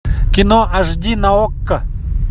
кино аш ди на окко